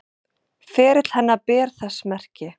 Ferill hennar ber þess merki.